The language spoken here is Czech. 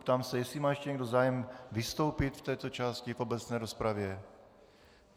Ptám se, jestli má ještě někdo zájem vystoupit v této části v obecné rozpravě.